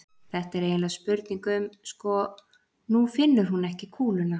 Þetta er eiginlega spurning um. sko, nú finnur hún ekki kúluna.